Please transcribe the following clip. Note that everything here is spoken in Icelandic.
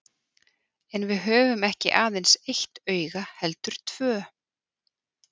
En við höfum ekki aðeins eitt auga heldur tvö.